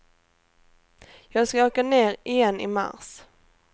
Jag skall åka ner igen i mars.